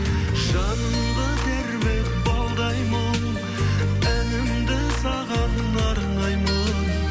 жанымды тербеп балдай мұң әнімді саған арнаймын